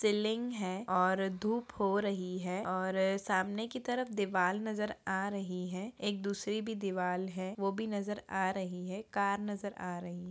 Building है और धूप हो रही है और सामने की तरफ दीवाल नजर आ रही है एक दूसरी भी दीवाल है वो भी नजर आ रही है कार नजर आ रही है।